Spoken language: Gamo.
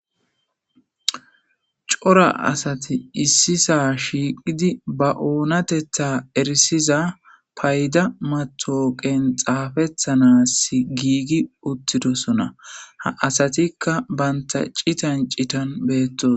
cora asati issisa shiiqidi ba oonatetha erisiza payda matooqen xaafethanas giigi uttidosona ha asatikka banta citan citan beettos